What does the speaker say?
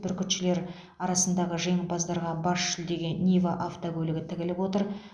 бүркітшілер арасындағы жеңімпаздарға бас жүлдеге нива автокөлігі тігіліп отыр